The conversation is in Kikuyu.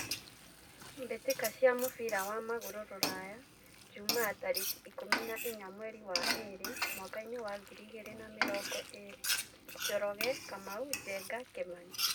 Mbĩtĩka cia mũbira wa magũrũ Ruraya Jumaa tarĩki ikũmi na inya mweri wa ĩrĩ mwakainĩ wa ngiri igĩrĩ na mĩrongo ĩrĩ: Njoroge, Kamau, Njenga, Kimani.